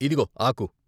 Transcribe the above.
ఇదుగో ఆకు "